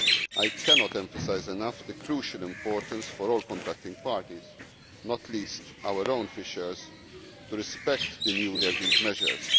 I cannot emphasise enough the crucial importance for all contracting parties, not least our own fishers, to respect the newly agreed measures.